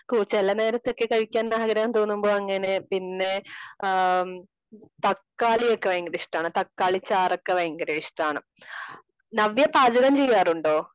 ചില നേരത്തൊക്കെ കഴിക്കാൻ ആഗ്രഹം തോന്നുമ്പോ അങ്ങനെ പിന്നെ തക്കാളിയൊക്കെ ഭയങ്കര ഇഷ്ടമാണ്. തക്കാളി ചാറ് ഒക്കെ ഭയങ്കര ഇഷ്ടമാണ്. നവ്യ പാചകം ചെയ്യാറുണ്ടോ?